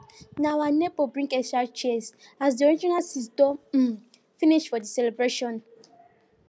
na our neighbor bring extra chairs as the original seats don um finish for the celebration